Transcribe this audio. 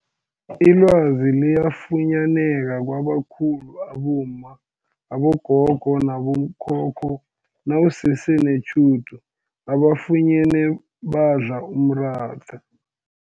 Ilwazi liyafunyaneka kwabakhulu abomma, abogogo nabo khokho nawusese netjhudu ubafunyene badla umratha.